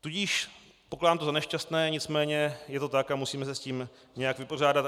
Tudíž pokládám to za nešťastné, nicméně je to tak a musíme se s tím nějak vypořádat.